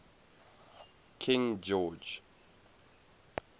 king george